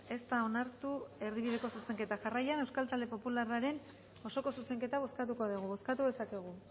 ez da onartu erdibideko zuzenketa jarraian euskal talde popularraren osoko zuzenketa bozkatuko dugu bozkatu dezakegu